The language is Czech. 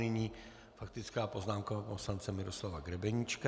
Nyní faktická poznámka poslance Miroslava Grebeníčka.